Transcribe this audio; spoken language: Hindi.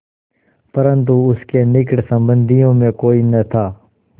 परन्तु उसके निकट संबंधियों में कोई न था